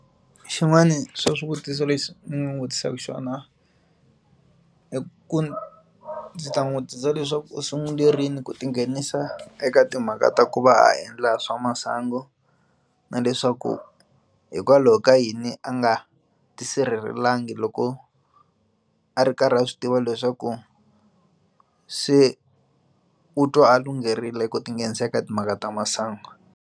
Xin'wani swa swivutiso leswi ni nga vutisaka xona i ku ndzi ta n'wi vutisa leswaku u sungule rini ku tinghenisa eka timhaka ta ku va a endla swa masangu na leswaku hikwalaho ka yini a nga tisirhelelangi loko a ri karhi a swi tiva leswaku se u twa a lungherile ku tinghenisa eka timhaka ta masangu.